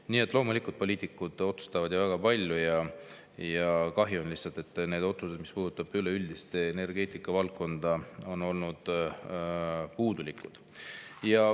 Nii et loomulikult poliitikud otsustavad väga palju ja on lihtsalt kahju, et need otsused, mis puudutavad üleüldist energeetikavaldkonda, on olnud puudulikud.